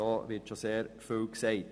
Darin wird schon sehr viel gesagt.